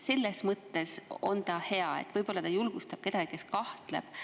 Selles mõttes on see hea, et ta võib-olla julgustab kedagi, kes selles kahtleb.